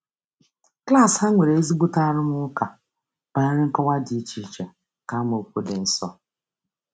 Klaasị ha nwere ezigbo arụmụka banyere nkọwa dị iche iche nke amaokwu dị nsọ.